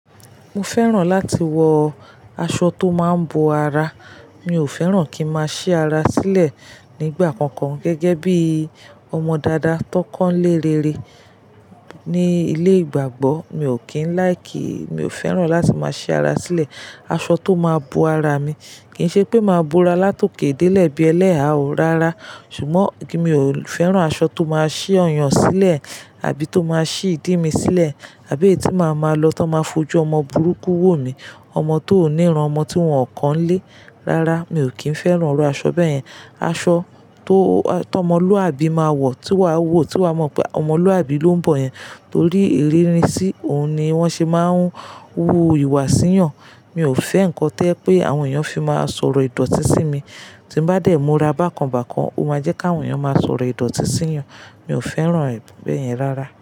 Mo fẹ́ràn láti wọ aṣọ tó máa ń bo ara. Mi ò fẹ́ràn kí n máa ṣi ara sílẹ̀ nígbà kankan gẹ́gẹ́ bí ọmọ dada tó kán lé rere ní ilé ìgbàgbọ́. Mi ò kí ń láìkì, mi ò fẹ́ràn láti máa ṣi ara sílẹ̀. Aṣọ tó máa bo ara mi. Kì ń ṣe pé màá bo ara látòké dé lẹ̀ bí ẹlẹ́ha ó rara, ṣùgbọ́n kí mi ò fẹ́ràn aṣọ tó máa ṣí ọyàn sílẹ̀ àbí tó máa ṣí ìdí mi sílẹ̀, àbí etí màá máa lọ tó máa fojú ọmọ burúkú wò mi, ọmọ tó ò níran, ọmọ tí wọ́n kàn lé rara. Mi ò kí ń fẹ́ràn iru aṣọ bẹ́ẹ̀ yẹn. Aṣọ tó tọ ọmọlúàbí máa wọ̀, tí wàá wò, tí wàá mọ̀ pé ọmọlúàbí ló ń bọ̀ yẹn torí ìríní sí òun ni wọ́n ṣe máa ń wú ìwà sí yàn. Mi ò fẹ́ nǹkan to ẹ́ pé àwọn èèyàn fi máa sọ̀rọ̀ ìdọ̀tí sí mi. Tí n bá dẹ́ mu ra bákan bákan, ó máa jẹ́ kí àwọn èèyàn máa sọ̀rọ̀ ìdọ̀tí sí yàn. Mi ò fẹ́ràn ẹ bẹ yẹn rara.